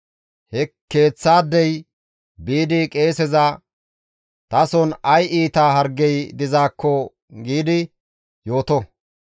he keeththaadey biidi qeeseza, ‹Tason ay iita hargey dizaakko› giidi yooto.